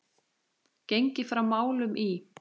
Gengið frá málum í